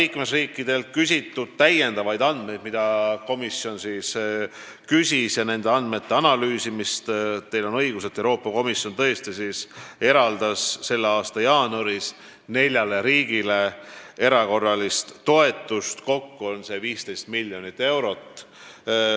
Teil on õigus, pärast liikmesriikidelt lisaandmete küsimist ja nende andmete analüüsimist eraldas Euroopa Komisjon tõesti selle aasta jaanuaris neljale riigile erakorralist toetust, kokku 15 miljonit eurot.